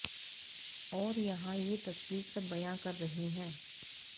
और यहां ये तस्वीर सब बयां कर रही है